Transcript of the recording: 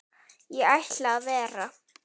Ég ætla að vera.